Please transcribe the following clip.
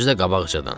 Özü də qabaqcadan.